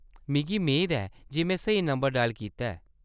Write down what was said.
मिगी मेद ऐ जे में स्हेई नंबर डायल कीता ऐ।